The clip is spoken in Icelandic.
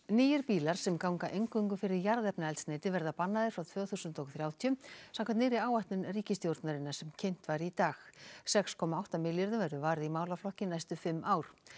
nýir bílar sem ganga eingöngu fyrir jarðefnaeldsneyti verða bannaðir frá tvö þúsund og þrjátíu samkvæmt nýrri áætlun ríkisstjórnarinnar sem kynnt var í dag sex komma átta milljörðum verður varið í málaflokkinn næstu fimm ár